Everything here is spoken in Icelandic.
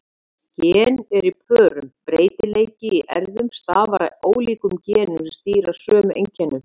Gen eru í pörum: Breytileiki í erfðum stafar af ólíkum genum sem stýra sömu einkennum.